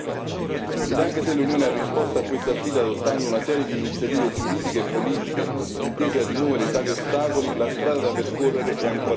E anche se l'Unione ha risposto a questa sfida adottando una serie di iniziative giuridiche e politiche, intese a rimuovere tali ostacoli, la strada da percorrere è ancora lunga.